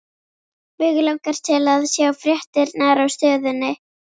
Mig langar til að sjá fréttirnar á Stöðinni.